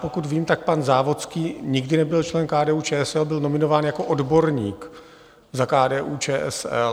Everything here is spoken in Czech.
Pokud vím, tak pan Závodský nikdy nebyl člen KDU-ČSL, byl nominován jako odborník za KDU-ČSL.